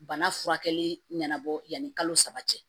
Bana furakɛli ɲanabɔ yanni kalo saba cɛ